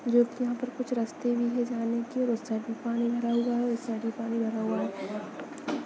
जोकि यहाँ पर कुछ रस्ते भी है जाने के उस साइड भी पानी भरा हुआ है उस साइड भी पानी भरा हुआ है।